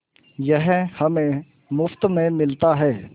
यह हमें मुफ्त में मिलता है